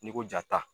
N'i ko jaa ta